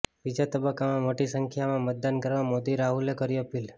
બીજા તબક્કામાં મોટી સંખ્યામાં મતદાન કરવા મોદી રાહુલે કરી અપીલ